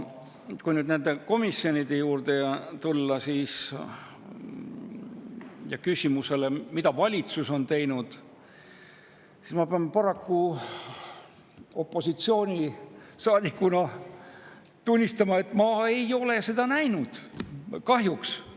Kui nende komisjonide juurde tulla ja küsida, mida valitsus on teinud, siis ma pean opositsioonisaadikuna paraku tunnistama, et ma ei ole seda näinud, kahjuks.